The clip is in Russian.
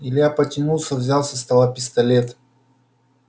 илья потянулся взял со стола пистолет